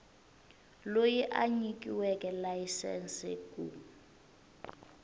loyi a nyikiweke layisense ku